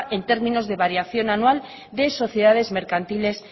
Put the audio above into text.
en términos de variación anual de sociedades mercantiles